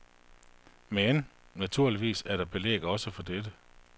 Men, naturligvis er der belæg også for dette.